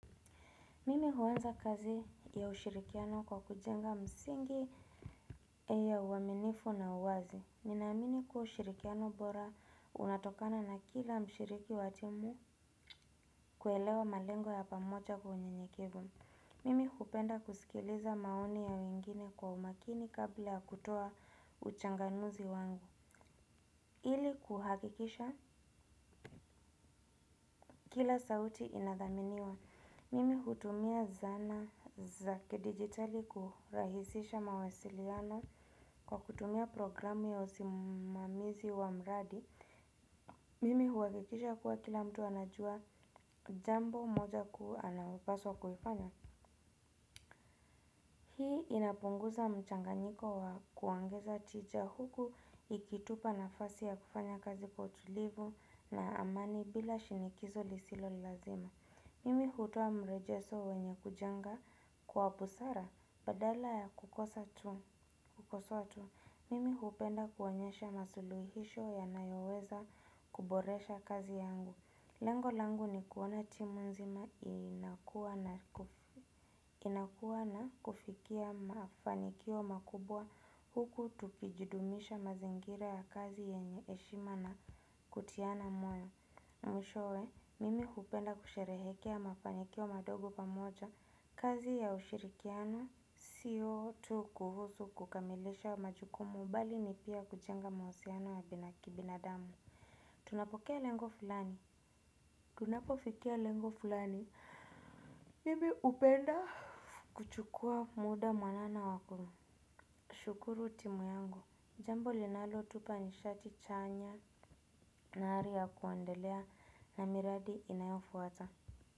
Mimi huanza kazi ya ushirikiano kwa kujenga msingi ya uaminifu na uwazi. Ninaamini kuwa ushirikiano bora unatokana na kila mshiriki wa timu kuelewa malengo ya pamoja kwa unyenyekevu mimi kupenda kusikiliza maoni ya wengine kwa umakini kabla ya kutoa uchanganuzi wangu. Ili kuhakikisha kila sauti inadhaminiwa. Mimi hutumia zana za kidijitali kurahisisha mawasiliano kwa kutumia programu ya usimamizi wa mradi. Mimi huakikisha kuwa kila mtu anajua jambo moja kuu analopaswa kuifanya. Hii inapunguza mchanganyiko wa kuongeza tija huku ikitupa nafasi ya kufanya kazi kwa utulivu na amani bila shinikizo lisilo lazima. Mimi hutoa mrejeso wenye kujenga kwa busara badala ya kukosa tu kukosoa tu mimi hupenda kuonyesha masuluhisho yanayoweza kuboresha kazi yangu. Lengo langu ni kuona timu nzima inakuwa na inakuwa na kufikia mafanikio makubwa huku tukijudumisha mazingira ya kazi yenye eshima na kutiana moyo. Mwishowe, mimi hupenda kusherehekea mafanikio madogo pamoja, kazi ya ushirikiano, sio tu kuhusu kukamilisha majukumu bali ni pia kujenga mawasiano ya bina kibinadamu. Tunapokea lengo fulani, tunapofikia lengo fulani. Mimi upenda kuchukua muda mwanana wa kushukuru timu yangu, jambo linalotupa nishati chanya na ari ya kuendelea na miradi inayofuata.